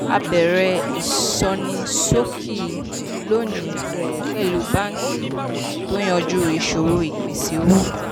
a bẹ̀rẹ̀ ìsọnísókí lónìí pẹ̀lú báńkì tó yanjú ìṣòro ìpèsè owó.